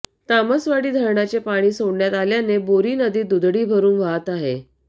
तामसवाडी धरणाचे पाणी सोडण्यात आल्याने बोरी नदी दुथडी भरून वाहत आहे